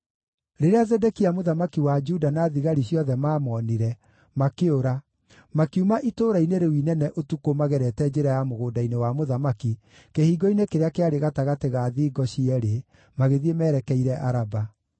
Rĩrĩa Zedekia mũthamaki wa Juda na thigari ciothe maamonire, makĩũra; makiuma itũũra-inĩ rĩu inene ũtukũ magerete njĩra ya mũgũnda-inĩ wa mũthamaki, kĩhingo-inĩ kĩrĩa kĩarĩ gatagatĩ ga thingo cierĩ, magĩthiĩ merekeire Araba.